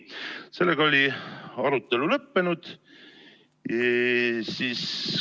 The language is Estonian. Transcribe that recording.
Sellega oli arutelu lõppenud.